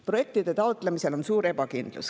Projektide taotlemisel on suur ebakindlus.